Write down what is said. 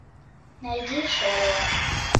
найди шерлок